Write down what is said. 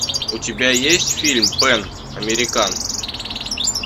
у тебя есть фильм пан американ